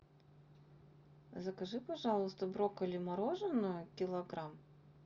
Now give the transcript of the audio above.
закажи пожалуйста брокколи мороженое килограмм